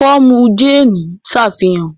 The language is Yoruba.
ikọmu Jane n ṣàfihàn